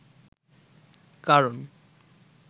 কারণ